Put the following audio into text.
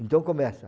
Então, começa.